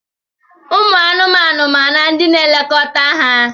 Ụmụ anụmanụ maara ndị na-elekọta ha.